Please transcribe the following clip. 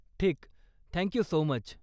ठीक! Thank you so much.